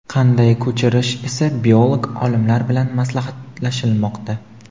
qanday ko‘chirish esa biolog olimlar bilan maslahatlashilmoqda.